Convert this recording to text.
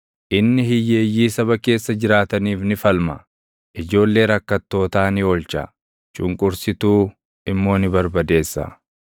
Inni hiyyeeyyii saba keessa jiraataniif ni falma; ijoollee rakkattootaa ni oolcha; cunqursituu immoo ni barbadeessa.